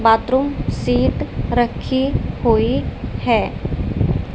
Bathroom seat रखी हुई है।